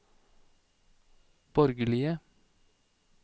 borgerlige